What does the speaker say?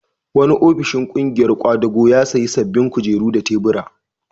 Wani ofishin ƙungiyar ƙwadago ya sayi sabbin kujeru da tubura.